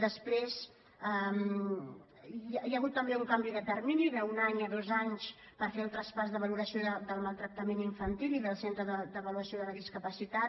després hi ha hagut també un canvi de termini d’un any a dos anys per fer el traspàs de valoració del mal·tractament infantil i del centre d’avaluació de la dis·capacitat